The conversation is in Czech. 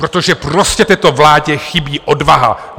Protože prostě této vládě chybí odvaha.